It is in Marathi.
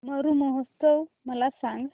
मरु महोत्सव मला सांग